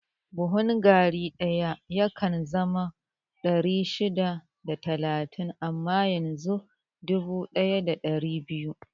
Buhun gari ɗaya yakan zama ɗari shida da talatin amma yanzu dubu da ɗari biyu